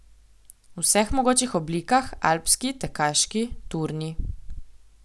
V vseh mogočih oblikah, alpski, tekaški, turni.